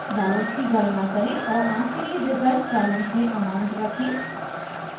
balance की गणना करें और आखिरीresultbalance में amount रखें